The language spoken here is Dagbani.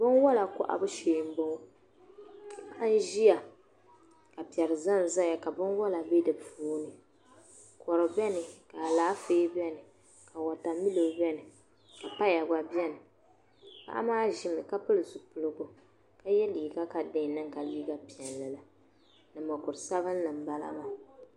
Binwala kɔhibu shee m-bɔŋɔ paɣa n-ʒiya ka piɛri ʒenʒeya ka binwala be di puuni kɔdu beni ka alaafee be ni ka watamilo be ni ka paya gba be ni paɣa maa ʒimi ka pili zipiligu ka ye liiga ka di di yɛn niŋ ka liiga piɛlli la ni mukur' sabinli m-bala maa